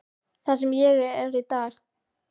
Það sem ég er í dag.